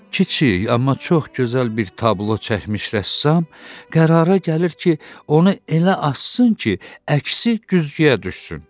Kiçik, amma çox gözəl bir tablo çəkmiş rəssam qərara gəlir ki, onu elə assın ki, əksi güzgüyə düşsün.